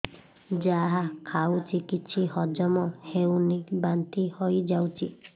ଯାହା ଖାଉଛି କିଛି ହଜମ ହେଉନି ବାନ୍ତି ହୋଇଯାଉଛି